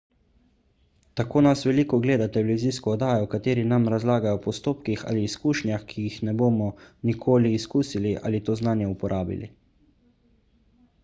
tako nas veliko gleda televizijsko oddajo v kateri nam razlagajo o postopkih ali izkušnjah ki jih ne bomo nikoli izkusili ali to znanje uporabili